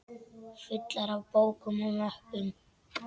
Fullar af bókum og möppum.